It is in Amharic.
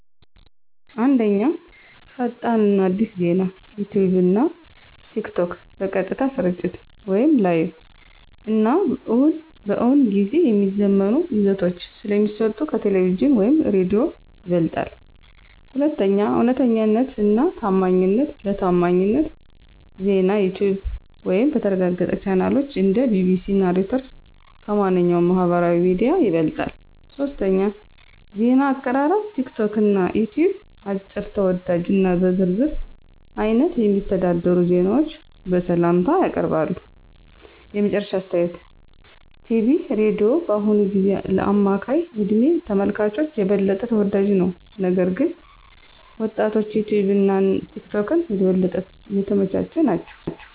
1. ፈጣን እና አዲስ ዜና - ዩትዩብ እና ቲክቶክ በቀጥታ ስርጭት (Live) እና በእውን ጊዜ የሚዘመኑ ይዘቶች ስለሚሰጡ ከቴሌቪዥን/ሬዲዮ ይበልጣል። 2. እውነተኛነት እና ታማኝነት - ለታማኝ ዜናዩትዩብ(በተረጋገጠ ቻናሎች እንደ BBC፣ Reuters) ከማንኛውም ማህበራዊ ሚዲያ ይበልጣል። 3. ዜና አቀራረብ - ቲክቶክ እና ዩትዩብ አጭር፣ ተወዳጅ እና በዝርዝር አይነት የሚተዳደሩ ዜናዎችን በሰላምታ ያቀርባሉ። የመጨረሻ አስተያየት ቲቪ/ሬዲዮ በአሁኑ ጊዜ ለአማካይ እድሜ ተመልካቾች የበለጠ ተወዳጅ ነው፣ ነገር ግን ወጣቶችዩትዩብ እና ቲክቶክ የበለጠ የተመቻቸ ናቸው።